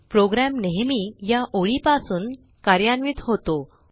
program नेहमी या ओळीपासून कार्यान्वित होतो